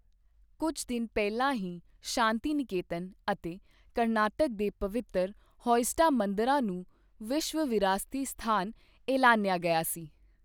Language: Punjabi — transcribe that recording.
ਕੁਝ ਦਿਨ ਪਹਿਲਾਂ ਹੀ ਸ਼ਾਂਤੀਨਿਕੇਤਨ ਅਤੇ ਕਰਨਾਟਕ ਦੇ ਪਵਿੱਤਰ ਹੋਯਸਡਾ ਮੰਦਰਾਂ ਨੂੰ ਵਿਸ਼ਵ ਵਿਰਾਸਤੀ ਸਥਾਨ ਐਲਾਨਿਆ ਗਿਆ ਹੈ।